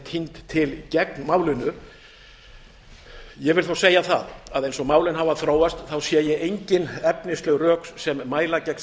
tínd til gegn málinu ég vil þó segja það að eins og málin hafa þróast sé ég engin efnisleg rök sem mæla gegn